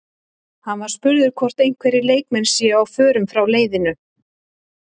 Hann var spurður hvort einhverjir leikmenn séu á förum frá leiðinu?